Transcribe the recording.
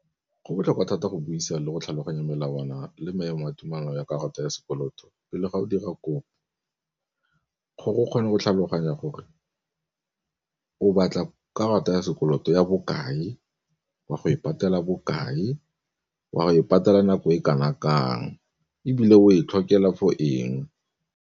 Go botlhokwa thata go buisa le go tlhaloganya melawana le maemo a tumelano ya karata ya sekoloto pele ga o dira kopo. Gore o kgone go tlhaloganya gore o batla karata ya sekoloto ya bokae, o a go e patela bokae, o a go e patela nako e kana kang ebile o e tlhokega for eng.